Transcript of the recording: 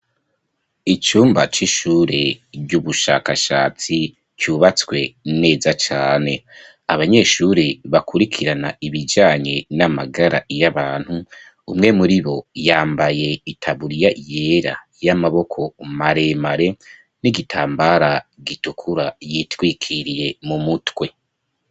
Icumba c'ishure ry'ubushakashatsi, cubatswe neza cane; abanyeshure bakurikirana ibijanye n'amagara y'abantu, umwe muri bo, yambaye itaburiya yera, y'amaboko maremare, n'igitambara gitukura, yitwikiriye mu mutwe.